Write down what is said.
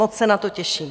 Moc se na to těším.